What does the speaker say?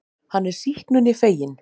Hann er sýknunni feginn.